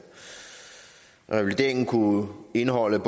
revalideringen kunne indeholde en